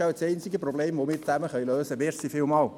Es ist wohl das einzige Problem, das wir gemeinsam lösen können.